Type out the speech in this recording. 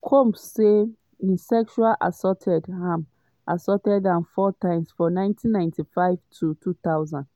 combs say im sexually assault am assault am four times from 1995 to 2000.